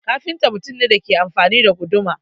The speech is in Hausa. Kafinta mutum ne da ke amfani da guduma.